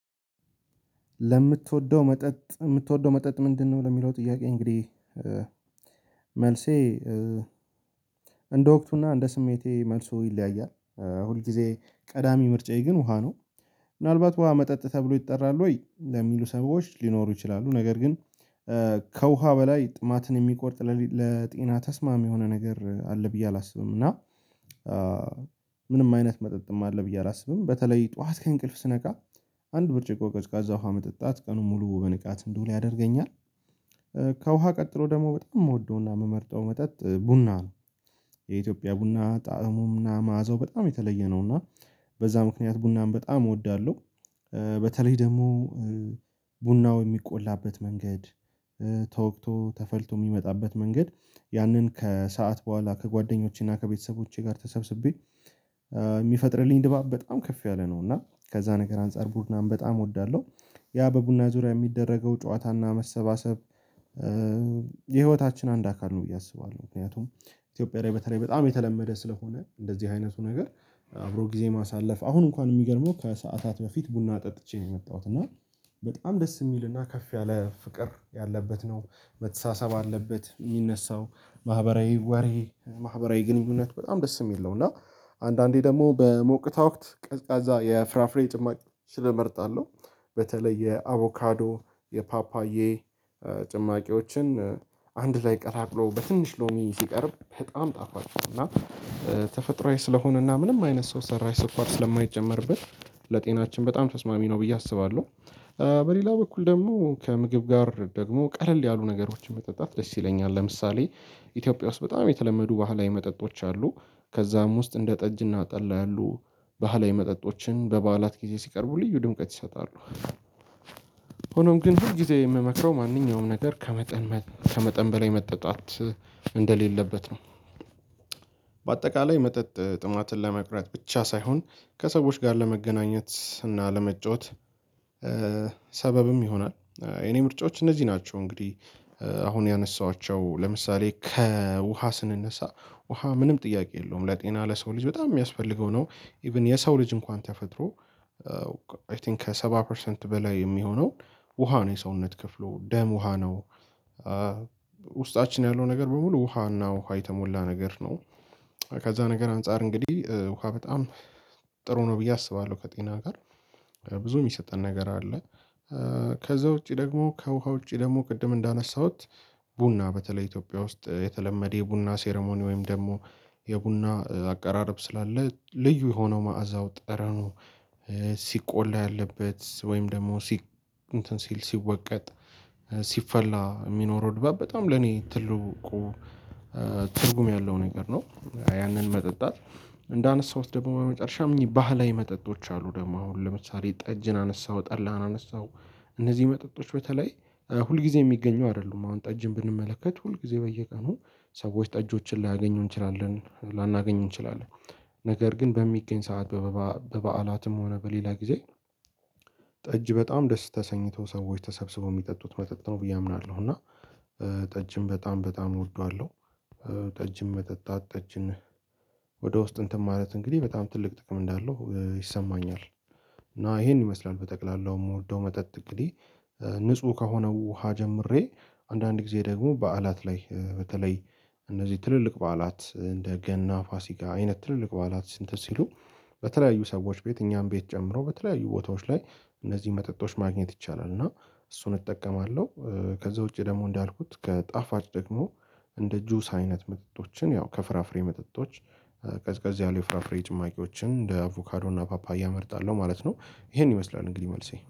ለምትወደው መጠጥ የምትወደው መጠጥ ምንድነው? ለሚለው ጥያቄ እንግዲህ መልሴ እንደ ወቅቱና እንደ ስሜቴ መልሱ ይለያያል። ሁልጊዜ ቀዳሚ ምርጫዬ ግን ውሃ ነው። ምናልባት ውሃ መጠጥ ተብሎ ይጠራል ወይ ለሚሉ ሰብአዊቶች ሊኖሩ ይችላሉ። ነገር ግን ከውሃ በላይ ጥማትን የሚቆርጥ ለጤና ተስማሚ የሆነ ነገር አለ ብዬ አላስብም። እና ምንም አይነት መጠጥም አለ ብዬ አላስብም። በተለይ ጠዋት ከእንቅልፍ ስነቃ አንድ ብርጭቆ ቀዝቃዛ ውሃ መጠጣት ቀኑን ሙሉ በንቃት እንደውል ያደርገኛል። ከውሃ ቀጥሎ ደግሞ በጣም የምወደውና የምመርጠው መጠጥ ቡና ነው። የኢትዮጵያ ቡና ጣእሙም እና መዓዛው በጣም የተለየ ነው። እና በዛ ምክንያት ቡናን በጣም እወዳለሁ። በተለይ ደግሞ ቡናው የሚቆላበት መንገድ፣ ተወቅቶ፣ ተፈልቶ የሚመጣበት መንገድ ያንን ከሰአት በኋላ ከጓደኞቼና ከቤተሰቦቼ ጋር ተሰብስቤ የሚፈጥርልኝ ድባብ በጣም ከፍ ያለ ነው። እና ከዛ ነገር አንፃር ቡናን በጣም እወዳለሁ። ያ በቡና ዙሪያ የሚደረገው ጨዋታና መሰባሰብ የህይወታችን አንድ አካል ነው ብዬ አስባለሁ። ምክንያቱም ኢትዮጵያ በተለይ በጣም የተለመደ ስለሆነ እንደዚህ አይነቱ ነገር አብሮ ጊዜ ማሳለፍ። አሁን እንኳን የሚገርመው ከሰአታት በፊት ቡና ጠጥቼ ነው የመጣሁት። እና በጣም ደስ የሚልና ከፍ ያለ ፍቅር ያለበት ነው። መተሳሰብ አለበት የሚነሳው ማህበራዊ ወሬ ማህበራዊ ግንኙነት በጣም ደስ የምል ነው። እና አንዳንዴ ደግሞ በሞቅታ ወቅት ቀዝቃዛ የፍራፍሬ ጭማቅ እመርጣለሁ። በተለይ የአቮካዶ፣ የፓፓዬ ጭማቂዎችን አንድ ላይ ቀላቅሎ በትንሽ ሎሚ ሲቀርብ በጣም ጣፋጭ ነው እና ተፈጥሮአዊ ስለሆነና ምንም አይነት ሰው ሰራሽ ስኳር ስለማይጨመርበት ለጤናችን በጣም ተስማሚ ነው ብዬ አስባለሁ። በሌላ በኩል ደግሞ ከምግብ ጋር ደግሞ ቀለል ያሉ ነገሮችን መጠጣት ደስ ይለኛል። ለምሳሌ ኢትዮጵያ ውስጥ በጣም የተለመዱ ባህላዊ መጠጦች አሉ። ከዛም ውስጥ እንደ ጠጅ እና ጠላ ያሉ ባህላዊ መጠጦችን በበዓላት ጊዜ ሲቀርቡ ልዩ ድምቀት ይሰጣሉ። ሆኖም ግን ሁል ጊዜ የምመክረው ማንኛውም ነገር ከመጠን ከመጠን በላይ መጠጣት እንደሌለበት ነው። በአጠቃላይ መጠጥ ጥማትን ለመቅረት ብቻ ሳይሆን ከሰዎች ጋር ለመገናኘት እና ለመጫወት ሰበብም ይሆናል። የኔ ምርጫዎች እነዚህ ናቸው። እንግዲህ አሁን ያነሳኋቸው ለምሳሌ ከውሃ ስንነሳ ውሃ ምንም ጥያቄ የለውም። ለጤና ለሰው ልጅ በጣም የሚያስፈልገው ነው። ኢቭን የሰው ልጅ እንኳን ተፈጥሮ አይ ቲንክ ከሰባ ፐርሰንት በላይ የሚሆነው ውሃ ነው የሰውነት ክፍሎ ደም ውሃ ነው። ውስጣችን ያለው ነገር በሙሉ ውሃና ውሃ የተሞላ ነገር ነው። ከዛ ነገር አንፃር እንግዲህ ውሃ በጣም ጥሩ ነው ብዬ አስባለሁ። ከጤና ጋር ብዙ የሚሰጠን ነገር አለ። ከዛ ውጪ ደግሞ ከውሃ ውጪ ደግሞ ቅድም እንዳነሳሁት ቡና በተለይ ኢትዮጵያ ውስጥ የተለመደ የቡና ሴረሞኒ ወይም ደግሞ የቡና አቀራረብ ስላለ ልዩ የሆነው መዓዛው፣ ጠረኑ ሲቆላ ያለበት ወይም ደግሞ እንትን ሲል ሲወቀጥ፣ ሲፈላ የሚኖረው ድባብ በጣም ለኔ ትልቁ ትርጉም ያለው ነገር ነው። ያንን መጠጣት። እንዳነሳሁት ደግሞ የመጨረሻም እኚህ ባህላዊ መጠጦች አሉ ደግሞ አሁን ለምሳሌ ጠጅን አነሳው፤ ጠላን አነሳው እነዚህ መጠጦች በተለይ ሁል ጊዜ የሚገኙ አይደሉም። አሁን ጠጅን ብንመለከት ሁል ጊዜ በየቀኑ ሰዎች ጠጆችን ላያገኙ እንችላለን። ላናገኙ እንችላለን ነገር ግን በሚገኝ ሰዓት በበአላትም ሆነ፣ በሌላ ጊዜ ጠጅ በጣም ደስ ተሰኝተው፤ ሰዎች ተሰብስበው የሚጠጡት መጠጥ ነው ብዬ አምናለሁ። እና ጠጅም በጣም በጣም እወደዋለሁ። ጠጅን መጠጣት ጠጅን ወደ ውስጥ እንትን ማለት እንግዲህ በጣም ትልቅ ጥቅም እንዳለው ይሰማኛል። እና ይሄን ይመስላል በጠቅላላው የምወደው መጠጥ እንግዲህ ንጹህ ከሆነው ውሃ ጀምሬ አንዳንድ ጊዜ ደግሞ በዓላት ላይ በተለይ እነዚህ ትልልቅ በዓላት እንደ ገና፣ ፋሲካ አይነት ትልልቅ በዓላት እንትን ሲሉ በተለያዩ ሰዎች ቤት እኛም ቤት ጨምሮ በተለያዩ ቦታዎች ላይ እነዚህን መጠጦች ማግኘት ይቻላል። እና እሱን እጠቀማለሁ። ከዛ ውጪ ደግሞ እንዳልኩት ከጣፋጭ ደግሞ እንደ ጁስ አይነት መጠጦችን ያው ከፍራፍሬ መጠጦች ከዚህ ያሉ የፍራፍሬ ጭማቂዎችን እንደ አቮካዶ እና ፓፓያ እመርጣለሁ ማለት ነው። ይሄን ይመስላል እንግዲህ መልሴ